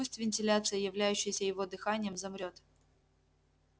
пусть вентиляция являющаяся его дыханием замрёт